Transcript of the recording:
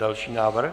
Další návrh.